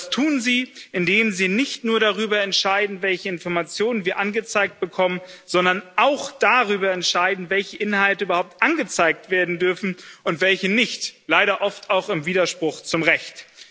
Das tun sie, indem sie nicht nur darüber entscheiden, welche Informationen wir angezeigt bekommen, sondern auch darüber entscheiden, welche Inhalte überhaupt angezeigt werden dürfen und welche nicht leider oft auch im Widerspruch zum Recht.